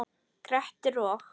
Grettir og